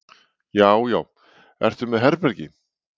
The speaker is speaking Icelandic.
Já já. ertu með herbergi?